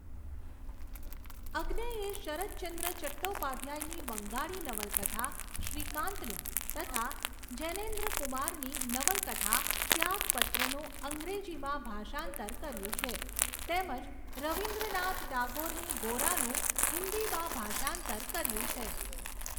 અજ્ઞેયે શરદચંદ્ર ચટ્ટોપાધ્યાયની બંગાળી નવલકથા શ્રીકાન્તનું તથા જૈનેન્દ્રકુમારની નવલકથા ત્યાગપત્રનું અંગ્રેજીમાં ભાષાંતર કર્યું છે તેમજ રવીન્દ્રનાથ ટાગોરની ગોરાનું હિન્દીમાં ભાષાંતર કર્યું છે.